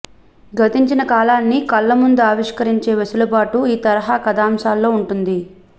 గతించిన కాలాన్ని కళ్లముందు ఆవిష్కరించే వెసులుబాటు ఈ తరహా కథాంశాల్లో ఉంటుంది